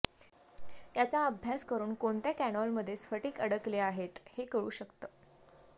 याचा अभ्यास करून कोणत्या कॅनॉलमध्ये स्फटिक अडकले आहेत हे कळू शकतं